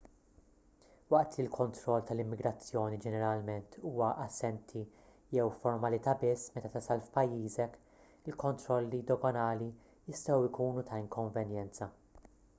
waqt li l-kontroll tal-immigrazzjoni ġeneralment huwa assenti jew formalità biss meta tasal f'pajjiżek il-kontrolli doganali jistgħu jkunu ta' inkonvenjenza